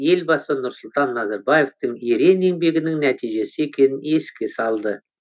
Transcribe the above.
елбасы нұрсұлтан назарбаевтың ерен еңбегінің нәтижесі екенін еске салды